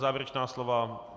Závěrečná slova?